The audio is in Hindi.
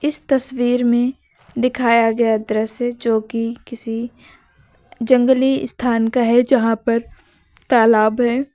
इस तस्वीर में दिखाया गया दृश्य जो कि किसी जंगली स्थान का है यहां पर तालाब है।